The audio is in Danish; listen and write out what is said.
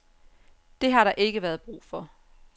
Det har der ikke været brug for.